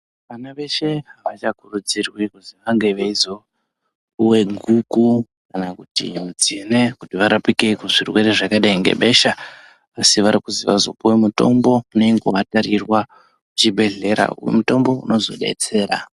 Vana veshe avachakuridzurwi kuti vange veizopuwa guku kana tsine kuti vazoraoike kuzvirwere zvebeshabasi varikupuwa mutombo unodakarirwa kuchibhedhlera mutombo unozovadetsera.